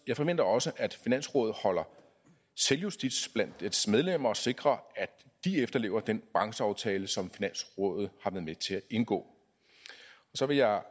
jeg forventer også at finansrådet holder selvjustits blandt dets medlemmer og sikrer at de efterlever den brancheaftale som finansrådet har været med til at indgå så vil jeg